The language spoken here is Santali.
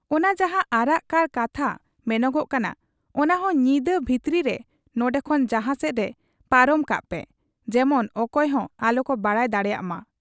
ᱚᱱᱟ ᱡᱟᱦᱟᱸ ᱟᱨᱟᱜ ᱠᱟᱨ ᱠᱟᱛᱷᱟ ᱢᱮᱱᱚᱜᱚᱜ ᱠᱟᱱᱟ, ᱚᱱᱟᱦᱚᱸ ᱧᱤᱫᱟᱹ ᱵᱷᱤᱛᱤᱨ ᱨᱮ ᱱᱚᱱᱰᱮ ᱠᱷᱚᱱ ᱡᱟᱦᱟᱸ ᱥᱮᱫᱜᱮ ᱯᱟᱨᱚᱢ ᱠᱟᱜ ᱯᱮ ᱾ ᱡᱮᱢᱚᱱ ᱚᱠᱚᱭᱦᱚᱸ ᱟᱞᱚᱠᱚ ᱵᱟᱰᱟᱭ ᱫᱟᱲᱮᱭᱟᱜ ᱢᱟ ᱾'